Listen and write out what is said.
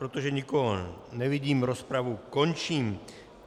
Protože nikoho nevidím, rozpravu končím.